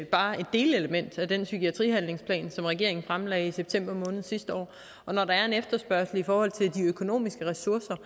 bare et delelement af den psykiatrihandlingsplan som regeringen fremlagde i september måned sidste år og når der er en efterspørgsel i forhold til de økonomiske ressourcer